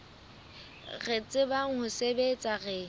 re tsebang ho sebetsa re